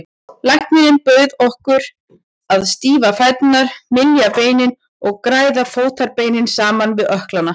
Læknirinn bauð okkur að stífa fæturna, mylja beinin og græða fótarbeinin saman við ökklana.